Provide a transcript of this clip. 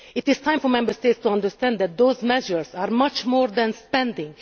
It is time for Member States to understand that these measures are much more than spending.